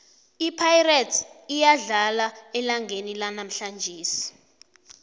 ipirates iyadlala elangeni lanamhlanje